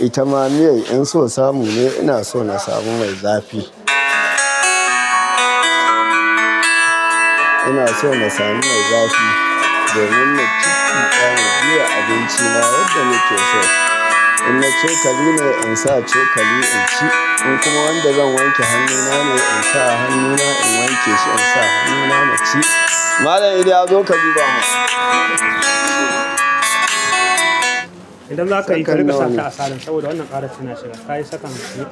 ita ma miyar in so samu ne, ina so na samu mai zafi. Ina so na sami mai zafi domin naci kifi ɗaya na biya abincina yadda nake so. In na cokali ne, in sa cokali in ci. In kuma wanda zan wanke hannuna ne, in sa hannuna in wanke su, in sa hannuna na ci. Malam iliya zo ka duba mun idan zaka yi, ka riƙa sata a silent saboda wannan karar tana so tayi second goma.